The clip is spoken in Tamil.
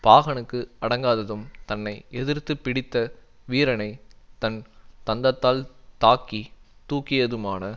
பாகனுக்கு அடங்காததும் தன்னை எதிர்த்து பிடித்த வீரனைத் தன் தந்தத்தால் தாக்கி தூக்கியதுமான